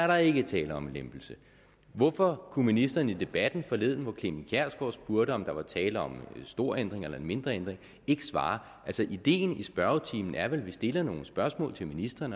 der ikke er tale om en lempelse hvorfor kunne ministeren i debatten forleden hvor clement kjersgaard spurgte om der var tale om en stor ændring eller en mindre ændring ikke svare ideen med spørgetimen er vel at vi stiller nogle spørgsmål til ministeren